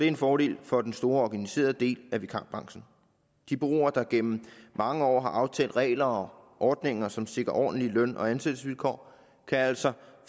en fordel for den store organiserede del af vikarbranchen de bureauer der gennem mange år har aftalt regler og ordninger som sikrer ordentlige løn og ansættelsesvilkår kan altså